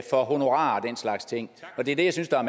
for honorar og den slags ting med det er det jeg synes der